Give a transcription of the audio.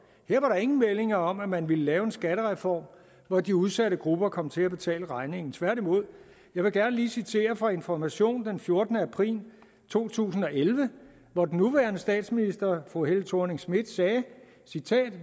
var der ingen meldinger om at man kan lave en skattereform hvor de udsatte grupper kom til at betale regningen tværtimod jeg vil gerne lige citere fra information den fjortende april to tusind og elleve hvor den nuværende statsminister fru helle thorning schmidt sagde